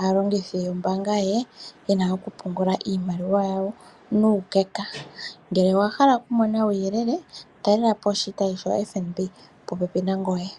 aalongithi yombaanga ye yena okupungula iimaliwa yawo nuukeka. Ngele owa hala okumona uuyelele talelapo oshitayi shoFNB popepi nangoye.